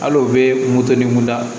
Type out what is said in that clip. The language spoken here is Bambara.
Al'o bɛ moto ni mun da